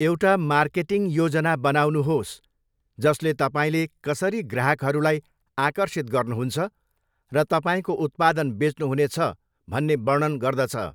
एउटा मार्केटिङ योजना बनाउनुहोस् जसले तपाईँले कसरी ग्राहकहरूलाई आकर्षित गर्नुहुन्छ र तपाईँको उत्पादन बेच्नुहुनेछ भन्ने वर्णन गर्दछ।